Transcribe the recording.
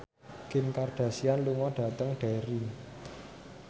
Kim Kardashian lunga dhateng Derry